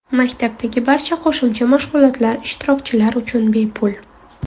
Maktabdagi barcha qo‘shimcha mashg‘ulotlar ishtirokchilar uchun bepul.